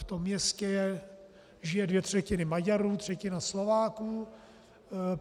V tom městě žijí dvě třetiny Maďarů, třetina Slováků.